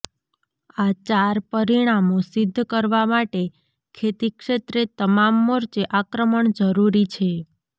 આ ચાર પરિમાણો સિદ્ધ કરવા માટે ખેતી ક્ષેત્રે તમામ મોરચે આક્રમણ જરૂરી છે